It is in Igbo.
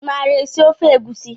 Imara esi ofe egusi?